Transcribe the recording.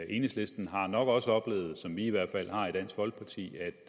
enhedslisten har nok også oplevet som vi i hvert fald har i dansk folkeparti at